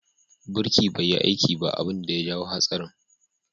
Birki bai yi aiki ba abin da ya jawo hatsarin.